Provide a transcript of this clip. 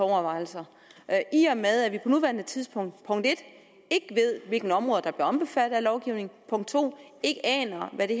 overvejelser i og med at vi nuværende tidspunkt punkt en ikke ved hvilke områder der bliver omfattet af lovgivningen og punkt to ikke aner hvad det